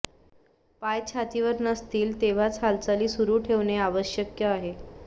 पाय छातीवर नसतील तेव्हाच हालचाली सुरू ठेवणे आवश्यक आहे